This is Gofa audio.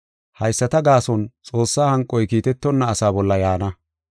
Hayisata gaason Xoossaa hanqoy kiitetonna asaa bolla yaana.